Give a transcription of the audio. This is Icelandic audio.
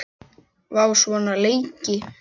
Vá, svona lengi?